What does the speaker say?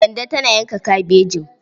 Kande tana yanka kabejin.